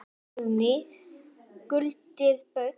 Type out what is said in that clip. Guðný: Skuldir Baugs?